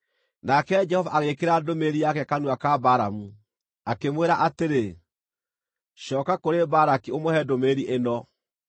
Nake Jehova agĩĩkĩra ndũmĩrĩri yake kanua ka Balamu, akĩmwĩra atĩrĩ, “Cooka kũrĩ Balaki ũmũhe ndũmĩrĩri ĩno.”